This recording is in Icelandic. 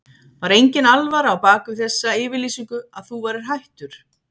Var enginn alvara á bak við þessa yfirlýsingu að þú værir hættur?